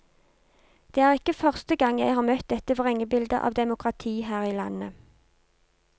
Det er ikke første gang jeg har møtt dette vrengebildet av demokrati her i landet.